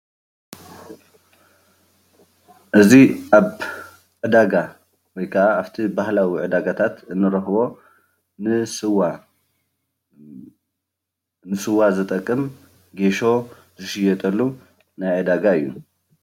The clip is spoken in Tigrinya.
እዚ ኣብ ዕዳጋ ወይ ካዓ ኣብቲ ባህላዊ ዕዳጋታታት እንረኽቦ ንስዋ ዝጠቅም ጌሾ ዝሽየጠሉ ዕዳጋ እዩ።